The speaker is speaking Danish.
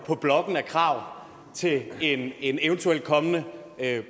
på blokken af krav til en en eventuel kommende